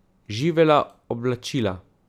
Živela oblačila!